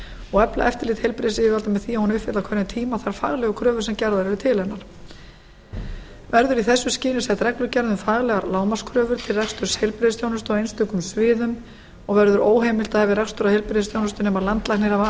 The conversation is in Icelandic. og efla eftirlit heilbrigðisyfirvalda með því að hún uppfylli á hverjum tíma þær faglegu kröfur sem gerðar eru til hennar verður í þessu skyni sett reglugerð um faglegar lágmarkskröfur til reksturs heilbrigðisþjónustu á einstökum sviðum og verður óheimilt að hefja rekstur á heilbrigðisþjónustu nema landlæknir hafi